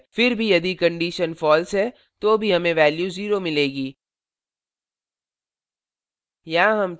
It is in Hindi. फिर भी यदि condition false है तो भी हमें value 0 मिलेगी